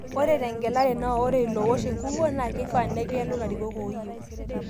Ore tengelare naa ore iloowosh enkukuo naa keifaa negelu ilarikok ooyieu.